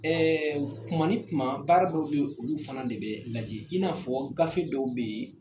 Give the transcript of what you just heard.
Ɛɛ tuma ni tuma baara dɔw bɛ olu fana de bɛ lajɛ i n'a fɔ gafe dɔw bɛ yen